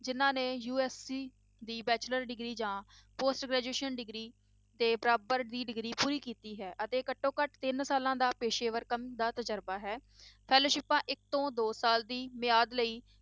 ਜਿੰਨਾਂ ਨੇ USC ਦੀ bachelor degree ਜਾਂ post graduation degree ਦੇ ਬਰਾਬਰ ਦੀ degree ਪੂਰੀ ਕੀਤੀ ਹੈ ਅਤੇ ਘੱਟੋ ਘੱਟ ਤਿੰਨਾ ਸਾਲਾਂ ਦਾ ਪੇਸ਼ੇਵਰ ਕੰਮ ਦਾ ਤਜ਼ਰਬਾ ਹੈ ਸਿੱਪਾਂ ਇੱਕ ਤੋਂ ਦੋ ਸਾਲ ਦੀ ਮਿਆਦ ਲਈ